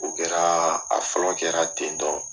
U kɛraa a fɔlɔ kɛra ten tɔn